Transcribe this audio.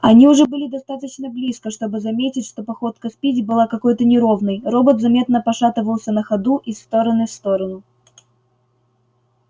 они уже были достаточно близко чтобы заметить что походка спиди была какой-то неровной робот заметно пошатывался на ходу из стороны в сторону